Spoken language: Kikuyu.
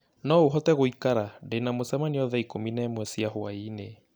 No ũhote gũikara ndĩ na mũcemanio thaa ikũmi na ĩmwe cia hwaĩinĩ